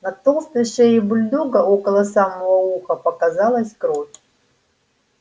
на толстой шее бульдога около самого уха показалась кровь